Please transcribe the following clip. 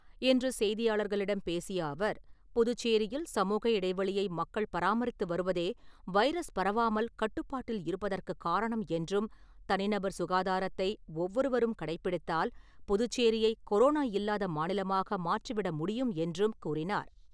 இன்று செய்தியாளர்களிடம் பேசிய அவர் புதுச்சேரியில் சமூக இடைவெளியை மக்கள் பராமரித்து வருவதே வைரஸ் பரவாமல் கட்டுப்பாட்டில் இருப்பதற்கு காரணம் என்றும் தனிநபர் சுகாதாரத்தை ஒவ்வொரு வரும் கடைபிடித்தால் புதுச்சேரியை கொரோனா இல்லாத மாநிலமாக மாற்றிவிட முடியும் என்றும் கூறினார்.